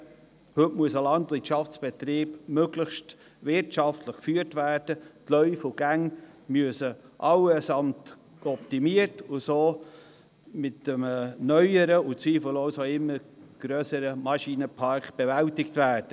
Heute muss ein Landwirtschaftsbetrieb möglichst wirtschaftlich geführt werden, die Gänge müssen allesamt optimiert und auch für einen neueren und zweifellos auch grösseren Maschinenpark zugänglich sein.